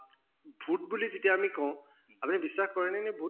ভূত বুলি যেতিয়া আমি কওঁ আপুনি বিশ্বাস কৰে নে নে ভূত